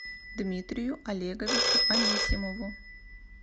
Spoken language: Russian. дмитрию олеговичу анисимову